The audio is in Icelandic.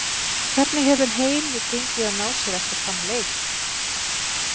Hvernig hefur heimi gengið að ná sér eftir þann leik?